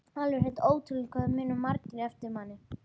Alveg hreint ótrúlegt hvað það muna margir eftir manni!